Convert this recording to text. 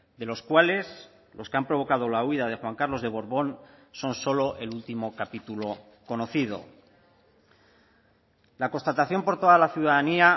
de los cuales los que han provocado la huida de juan carlos de borbón son solo el último capítulo conocido la constatación por toda la ciudadanía